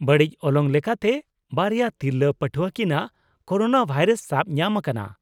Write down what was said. ᱵᱟᱹᱲᱤᱡ ᱚᱞᱚᱝ ᱞᱮᱠᱟᱛᱮ, ᱵᱟᱨᱭᱟ ᱛᱤᱨᱞᱟᱹ ᱯᱟᱹᱴᱷᱣᱟᱹ ᱠᱤᱱᱟᱜ ᱠᱳᱨᱳᱱᱟᱵᱷᱟᱭᱨᱟᱥ ᱥᱟᱵ ᱧᱟᱢ ᱟᱠᱟᱱᱟ,